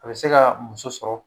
A bɛ se ka muso sɔrɔ.